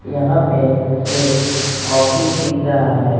यहां पे एक ऑफिस दिख रहा है।